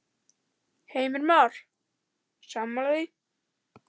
Heimir Már: Sammála því?